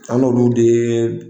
An n'o dun tɛ.